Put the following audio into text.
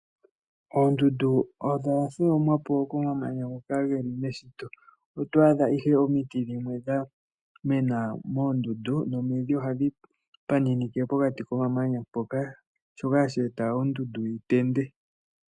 Oondundu odha tholomwa po komamanya ngoka ge li meshito. Oto adha ihe omiti dhimwe dha mena moondundu nomidhi ohadhi paninike pokati komamanya mpoka, shoka hashi eta ondundu yi tende.